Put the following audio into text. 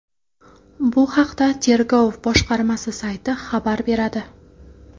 Bu haqda tergov boshqarmasi sayti xabar beradi.